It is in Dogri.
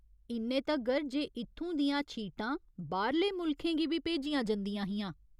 इन्ने तगर जे इत्थूं दियां छीटां बाह्‌रले मुल्खें गी बी भेजियां जंदियां हियां।